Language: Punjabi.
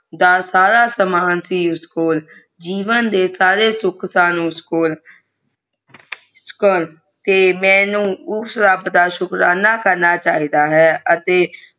ਦਾ ਸਾਰਾ ਸਮਾਂ ਉਸਕੋਲ ਜੀਵਨ ਦੇ ਸਾਰਾ ਸੀ ਉਦਕੋ ਮੈਨੂੰ ਉਸ ਰੱਬ ਦਾ ਸ਼ੁਕਰਾਨਾ ਕਰਨਾ ਚਾਹਤ ਹੁਣ ਅੱਤ